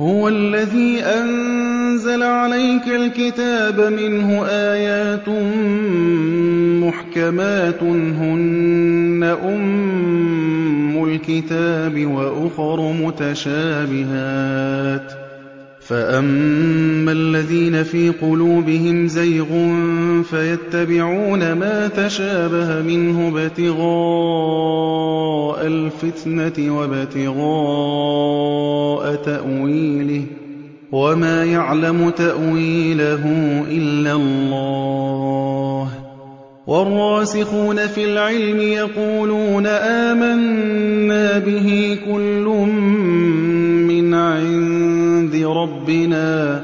هُوَ الَّذِي أَنزَلَ عَلَيْكَ الْكِتَابَ مِنْهُ آيَاتٌ مُّحْكَمَاتٌ هُنَّ أُمُّ الْكِتَابِ وَأُخَرُ مُتَشَابِهَاتٌ ۖ فَأَمَّا الَّذِينَ فِي قُلُوبِهِمْ زَيْغٌ فَيَتَّبِعُونَ مَا تَشَابَهَ مِنْهُ ابْتِغَاءَ الْفِتْنَةِ وَابْتِغَاءَ تَأْوِيلِهِ ۗ وَمَا يَعْلَمُ تَأْوِيلَهُ إِلَّا اللَّهُ ۗ وَالرَّاسِخُونَ فِي الْعِلْمِ يَقُولُونَ آمَنَّا بِهِ كُلٌّ مِّنْ عِندِ رَبِّنَا ۗ